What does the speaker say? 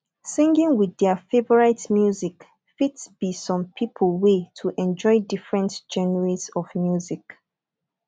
singing with their favourite music fit be some pipo wey to enjoy different genres of music